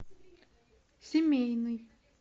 семейный